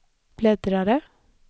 bläddrare